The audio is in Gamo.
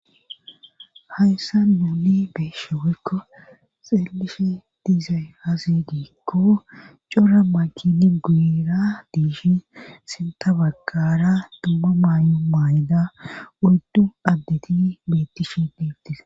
Hayssa nuuli beeshewykko xeelishe diizay azidiikko cora makini guira diishin sinta baggara dumma maayo maayda urdu addeti meettishi diibtis